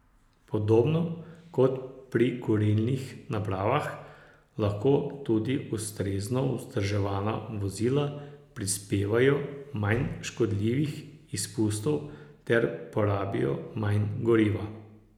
Podobno kot pri kurilnih napravah, lahko tudi ustrezno vzdrževana vozila prispevajo manj škodljivih izpustov ter porabijo manj goriva.